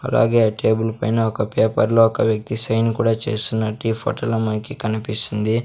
అలాగే టేబుల్ పైన ఒక పేపర్లో ఒక వ్యక్తి సైన్ కూడా చేస్తున్నట్టు ఈ ఫొటోలో మనకి కనిపిస్తుంది.